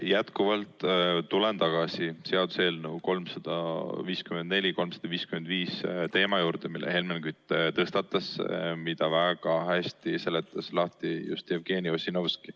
Jätkuvalt tulen tagasi seaduseelnõude 354 ja 355 teema juurde, mille Helmen Kütt tõstatas ja mida väga hästi seletas lahti Jevgeni Ossinovski.